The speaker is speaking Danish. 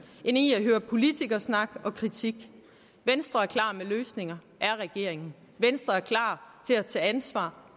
end i at høre politikersnak og kritik venstre er klar med løsninger er regeringen venstre er klar til at tage ansvar